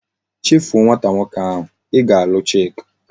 Chefu o nwata nwoke ahu! I ga alu chika!